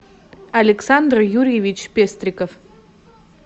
александр юрьевич пестриков